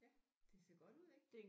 Ja det ser godt ud ik